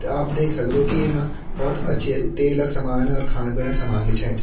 आप देख सक्दो कीं येमा भोत अच्छी तेल क सामान और खाण-पीणा क समान भी छेंच।